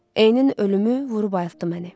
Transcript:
Eynən ölümü vurub ayıtdı məni.